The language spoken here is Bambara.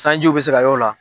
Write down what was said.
Sanjiw bɛ se ka y'o la.